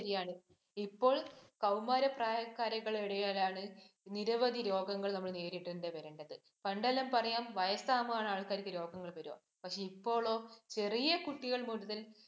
അത് ശെരിയാണ്. ഇപ്പോള്‍ കൗമാര പ്രായക്കാരുടെയിടയിലാണ് നിരവധി രോഗങ്ങള്‍ നമ്മള്‍ നേരിടേണ്ടി വരുന്നത്. പണ്ടെല്ലാം പറയാം, വയസ്സാവുമ്പോഴാണ് ആള്‍ക്കാര്‍ക്ക് രോഗങ്ങള്‍ വരുവാ, പക്ഷേ ഇപ്പോളോ ചെറിയ കുട്ടികള്‍ മുതല്‍